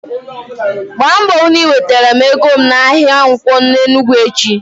Gba mbọ hụ na i wetara m ego m n'ahịa Nkwo n'Enugwu echi!